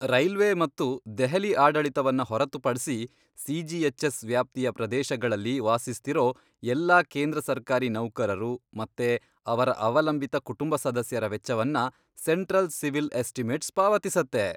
Railway ಮತ್ತು ದೆಹಲಿ ಆಡಳಿತವನ್ನ ಹೊರತುಪಡ್ಸಿ, ಸಿಜಿಎಚ್ಎಸ್ ವ್ಯಾಪ್ತಿಯ ಪ್ರದೇಶಗಳಲ್ಲಿ ವಾಸಿಸ್ತಿರೋ ಎಲ್ಲಾ ಕೇಂದ್ರ ಸರ್ಕಾರಿ ನೌಕರರು ಮತ್ತೆ ಅವರ ಅವಲಂಬಿತ ಕುಟುಂಬ ಸದಸ್ಯರ ವೆಚ್ಚವನ್ನ ಸೆಂಟ್ರಲ್ ಸಿವಿಲ್ ಎಸ್ಟಿಮೇಟ್ಸ್ ಪಾವತಿಸತ್ತೆ.